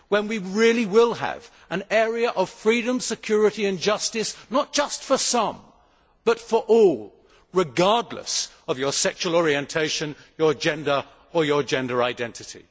Then we really will have an area of freedom, security and justice, not just for some, but for all, regardless of one's sexual orientation, gender or gender identity.